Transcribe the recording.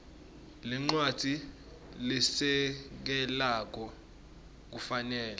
lencwadzi lesekelako kufanele